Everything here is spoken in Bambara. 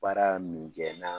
Baara min kɛ n'a